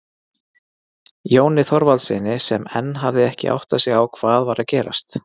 Jóni Þorvaldssyni sem enn hafði ekki áttað sig á hvað var að gerast.